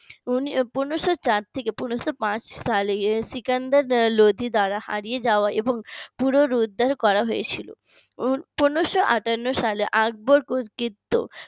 পনেরো শো চার থেকে পনেরো শো পাঁচ সালে সিকান্দার লোদী দ্বারা হারিয়ে যাওয়া এবং পুনরুদ্ধার করা হয়েছিল পনেরো শো আটান্ন সালে আকবর কীর্ত